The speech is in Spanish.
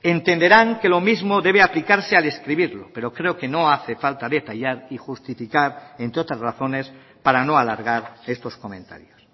entenderán que lo mismo debe aplicarse al escribirlo pero creo que no hace falta detallar y justificar entre otras razones para no alargar estos comentarios